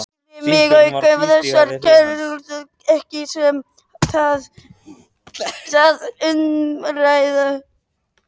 Kæri mig auk þess ekki um það umræðuefni.